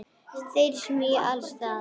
Þeir smjúga alls staðar.